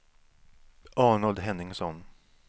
Arnold Henningsson